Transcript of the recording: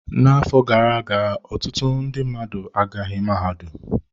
N'afọ gara aga, ọtụtụ ndị mmadụ agaghị mahadum.